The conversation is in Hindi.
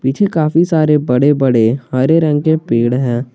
पीछे काफी सारे बड़े बड़े हरे रंग के पेड़ हैं।